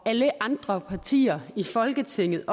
alle andre partier i folketinget